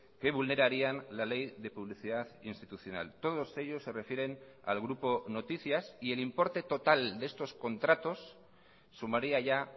que vulnerarían la ley de publicidad institucional todos ellos se refieren al grupo noticias y el importe total de estos contratos sumaría ya